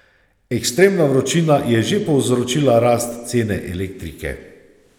Ekstremna vročina je že povzročila rast cene elektrike.